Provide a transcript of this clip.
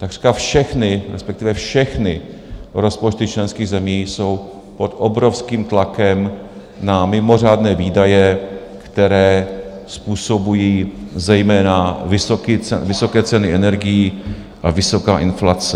Takřka všechny, respektive všechny rozpočty členských zemí jsou pod obrovským tlakem na mimořádné výdaje, které způsobují zejména vysoké ceny energií a vysoká inflace.